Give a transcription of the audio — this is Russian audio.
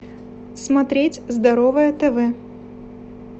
смотреть здоровое тв